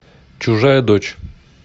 чужая дочь